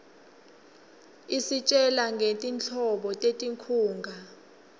isitjela ngetinhlobo tetinkhunga